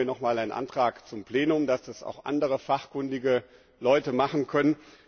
Deswegen haben wir nochmals einen Antrag zum Plenum, dass das auch andere fachkundige Leute machen können.